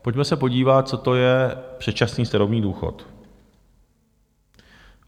Pojďme se podívat, co to je předčasný starobní důchod.